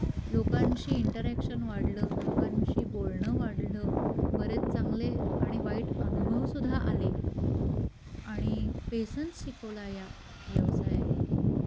लोकांशी इंटरअॅक्शन वाढल, लोकांशी बोलण वाढल, बरेच चांगले आणि वाईट अनुभव सुद्धा आले, आणि पेशन्स शिकवला या व्यवसायानी.